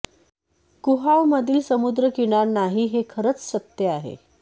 कुआह मधील समुद्रकिनार नाही हे खरेच सत्य आहे